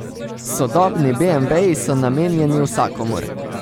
Sodobni beemveji so namenjeni vsakomur.